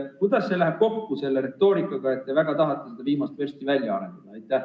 Kuidas see läheb kokku selle retoorikaga, et te väga tahate seda viimast versta välja arendada?